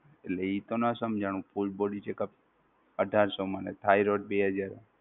એટલે એ તો ના સમજણું કે full body checkup અઢારસો રૂપિયા મા ને Thyroid બે હજાર મા?